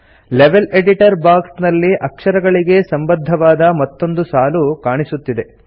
level editor box ನಲ್ಲಿ ಅಕ್ಷರಗಳಿಗೆ ಸಂಬದ್ಧವಾದ ಮತ್ತೊಂದು ಸಾಲು ಕಾಣಿಸುತ್ತದೆ